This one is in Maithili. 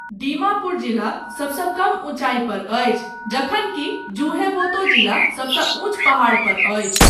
दीमापुर जिला सबसँ कम ऊँचाइ पर अछि, जखन कि ज़ुहेंबोतो जिला सबसँ ऊँच पहाड़पर अछि।